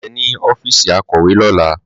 Màá rí ẹ ní ọ́fíìsì akọ̀wé lọ́la.